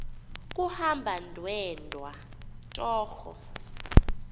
kuhamba ndedwa torho